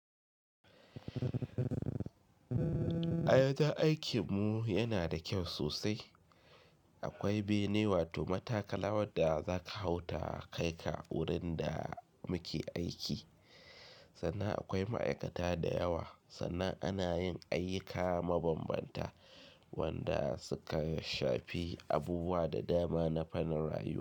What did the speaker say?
A yanzu aikin mu yana da kyau sosai. Akwai bene wato matakala wanda za ka hau ta kai ka wurin da muke aiki. Sannan akwai ma'aikata da yawa sannan ana yin ayyuka mabambanta wanda suka shafi abubuwa da dama na fannin rayuwa.